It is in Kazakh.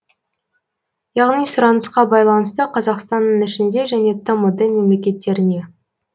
яғни сұранысқа байланысты қазақстанның ішінде және тмд мемлекеттеріне